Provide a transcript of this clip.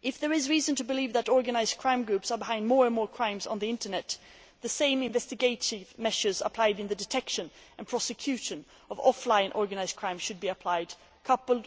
If there is reason to believe that organised crime groups are behind more and more crimes on the Internet, the same investigative measures applied in the detection and prosecution of offline organised crime should be applied, coupled